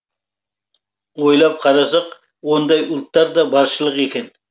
ойлап қарасақ ондай ұлттар да баршылық екен